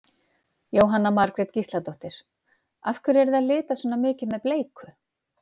Jóhanna Margrét Gísladóttir: Af hverju eruð þið að lita svona mikið með bleiku?